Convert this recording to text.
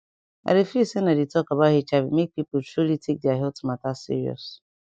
i dey feel say na di talk about hiv make pipo truly take their health mata serious